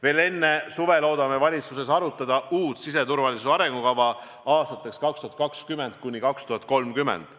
Veel enne suve loodame valitsuses arutada uut siseturvalisuse arengukava aastateks 2020–2030.